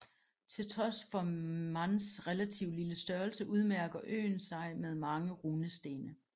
Til trods for Mans relative lille størrelse udmærker øen sig med mange runestene